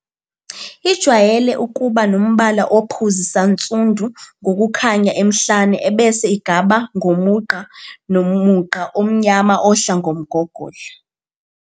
Ijwayele ukuba nombala ophuzi sansundu ngokukhanya emhlane ebese igaba ngomugqa mugqa omnyama ohla ngomgogodla.